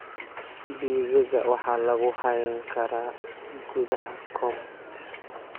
Digaagga waxa lagu hayn karaa gudaha coop.